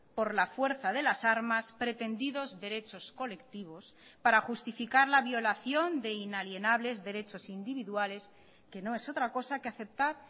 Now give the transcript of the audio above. por la fuerza de las armas pretendidos derechos colectivos para justificar la violación de inalienables derechos individuales que no es otra cosa que aceptar